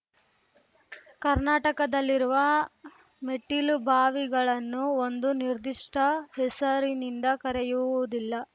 ಕರ್ನಾಟಕದಲ್ಲಿರುವ ಮೆಟ್ಟಿಲುಬಾವಿಗಳನ್ನು ಒಂದು ನಿರ್ದಿಷ್ಟಹೆಸರಿನಿಂದ ಕರೆಯುವುದಿಲ್ಲ